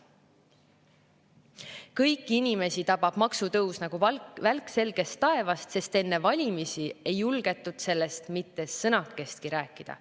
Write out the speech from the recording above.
Kõiki inimesi tabab maksutõus nagu välk selgest taevast, sest enne valimisi ei julgetud sellest mitte sõnakestki rääkida.